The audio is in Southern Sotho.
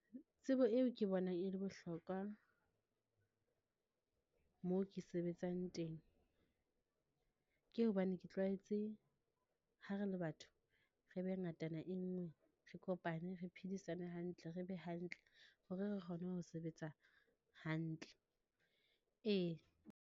Tsebo eo ke bona e le bohlokwa, moo ke sebetsang teng. Ke hobane ke tlwaetse ha re le batho, re be ngatana e nngwe, re kopane, re phedisane hantle, re be hantle hore re kgone ho sebetsa hantle, ee.